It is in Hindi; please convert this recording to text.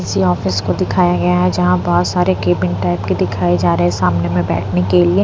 किसी ऑफिस को दिखाया गया है जहां बहुत सारे केबिन टाइप के दिखाई जा रहे हैं सामने में बैठने के लिए।